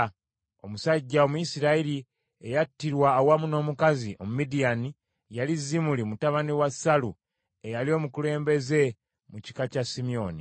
Omusajja Omuyisirayiri eyattirwa awamu n’omukazi Omumidiyaani yali Zimuli mutabani wa Salu eyali omukulembeze mu kika kya Simyoni.